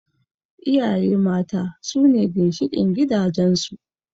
Iyaye mata sune ginshiƙin gidajen su